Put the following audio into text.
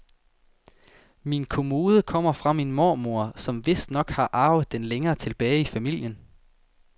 Min kommode kommer fra min mormor, som vistnok har arvet den længere tilbage i familien.